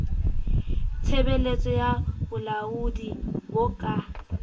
tshebeletso ya bolaodi bo ka